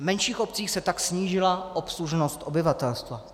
V menších obcích se tak snížila obslužnost obyvatelstva.